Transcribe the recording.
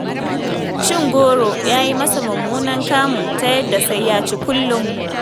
Cin goro ya yi masa mummunan kamu, ta yadda sai ya ci kullum.